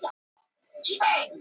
Höfundur myndar: Oddur Sigurðsson.